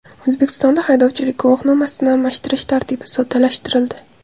O‘zbekistonda haydovchilik guvohnomasini almashtirish tartibi soddalashtirildi.